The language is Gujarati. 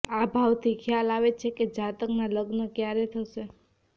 આ ભાવથી ખ્યાલ આવે છે કે જાતકના લગ્ન ક્યારે થશે